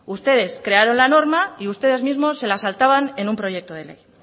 ustedes crearon la norma y ustedes mismos se la saltaban en un proyecto de ley